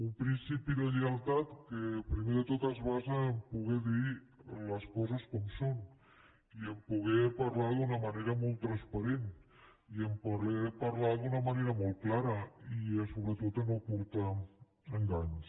un principi de lleialtat que primer de tot es basa a poder dir les coses com són i a poder parlar d’una manera molt transparent i a poder parlar d’una manera molt clara i sobretot a no portar a enganys